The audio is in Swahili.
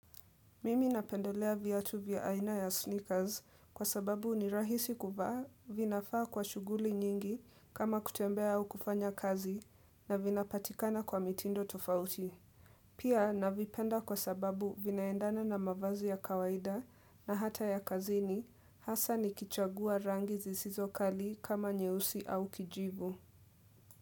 Mimi napendelea viatu vya aina ya sneakers kwa sababu ni rahisi kuvaa vinafaa kwa shughuli nyingi kama kutembea au kufanya kazi na vinapatikana kwa mitindo tofauti. Pia navipenda kwa sababu vinaendana na mavazi ya kawaida na hata ya kazini hasa nikichagua rangi zisizo kali kama nyeusi au kijivu.